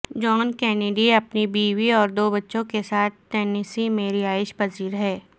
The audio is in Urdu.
جان کینیڈی اپنی بیوی اور دو بچوں کے ساتھ ٹنیسی میں رہائش پذیر ہیں